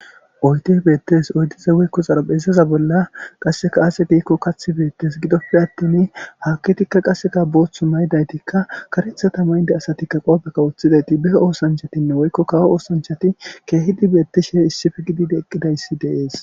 Oyde beettes oydiza woykko xarabezaza bolla qasseka aase giikko kath beettes gidoppe attin hakitikka qasseka booththu maydaytikka karethata maynde asatikka qoopekka woththidayti be oosanchatinne woykko kawo oosanchati keehidi beetti she issifi gididi eqqidayssi deees.